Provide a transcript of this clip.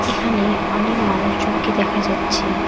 এখানে অনে মানুষজনকে দেখা যাচ্ছে।